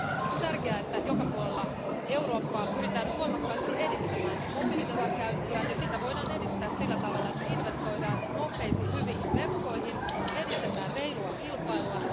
On tärkeää, että joka puolella Eurooppaa pyritään nyt voimakkaasti edistämään mobiilidatan käyttöä, ja sitä voidaan edistää sillä tavalla, että investoidaan nopeisiin hyviin verkkoihin ja edistetään reilua kilpailua.